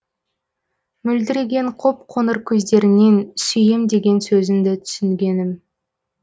мөлдіреген қоп қоңыр көздеріңнен сүйем деген сөзіңді түсінгенім